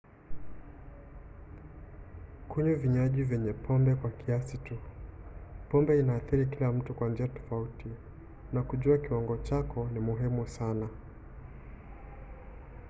kunywa vinywaji vyenye pombe kwa kiasi tu. pombe inaathiri kila mtu kwa njia tofauti na kujua kiwango chako ni muhimu sana